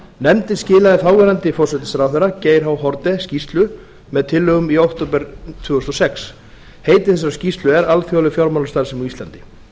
nefndin skilaði þáverandi forsætisráðherra geir h haarde skýrslu með tillögum í október tvö þúsund og sex heiti þessarar skýrslu er alþjóðleg fjármálastarfsemi á íslandi